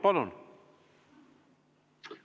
Palun!